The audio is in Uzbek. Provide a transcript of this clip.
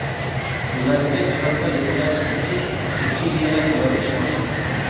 Ularga chorva yetkazish uchun subsidiyalar joriy qilmoqchimiz.